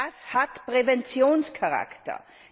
Das hat Präventionscharakter.